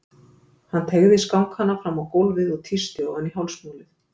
Hann teygði skankana fram á gólfið og tísti ofan í hálsmálið.